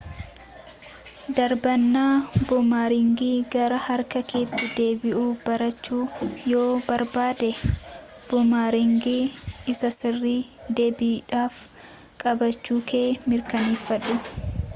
darbannaa buumaraangii gara harka keetti deebi'u barachuu yoo barbaadde buumaraangii isa sirrii deebiidhaaf qabaachuu kee mirkaneeffadhu